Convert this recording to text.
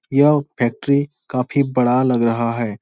यह फैक्ट्री काफी बड़ा लग रहा है।